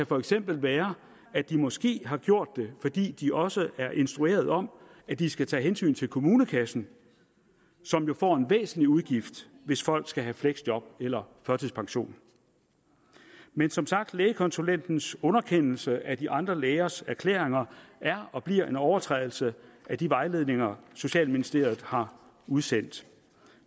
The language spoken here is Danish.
for eksempel være at de måske har gjort det fordi de også er instrueret om at de skal tage hensyn til kommunekassen som jo får en væsentlig udgift hvis folk skal have fleksjob eller førtidspension men som sagt lægekonsulentens underkendelse af de andre lægers erklæringer er og bliver en overtrædelse af de vejledninger socialministeriet har udsendt